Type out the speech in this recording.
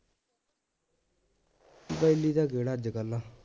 ਬੈਲੀ ਤਾਂ ਕਿਹੜਾ ਅੱਜਕੱਲ